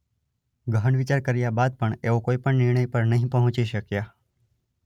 ગહન વિચાર કર્યા બાદ પણ એઓ કોઇપણ નિર્ણય પર નહીં પંહોચી શક્યા.